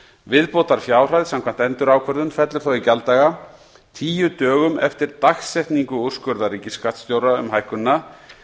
viðbótarfjárhæð samkvæmt endurákvörðun fellur þá í gjalddaga tíu dögum eftir dagsetningu úrskurðar ríkisskattstjóra um hækkunina